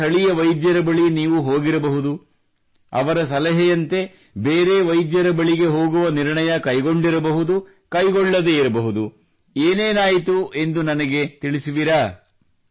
ಸ್ಥಳೀಯ ವೈದ್ಯರ ಬಳಿ ನೀವು ಹೋಗಿರಬಹುದು ಅವರು ಸಲಹೆಯಂತೆ ಬೇರೆ ವೈದ್ಯರ ಬಳಿ ಹೋಗುವ ನಿರ್ಣಯ ಕೈಗೊಂಡಿರಬಹುದು ಕೈಗೊಳ್ಳದೇ ಇರಬಹುದು ಏನೇನಾಯಿತು ಎಂದು ನನಗೆ ತಿಳಿಸುವಿರಾ